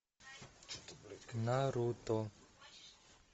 наруто